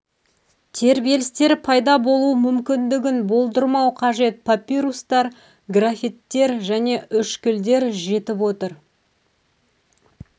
тербелістері пайда болуы мүмкіндігін болдырмау қажет папирустар граффиттер және үшкілдер жетіп отыр